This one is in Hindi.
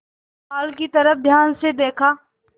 पुआल की तरफ ध्यान से देखा